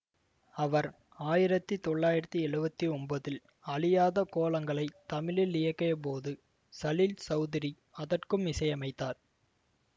அவர் ஆயிரத்தி தொள்ளாயிரத்தி எழுவத்தி ஒன்பதில் அழியாத கோலங்களை தமிழில் இயக்கியபோது சலீல் சௌதுரி அதற்கும் இசையமைத்தார்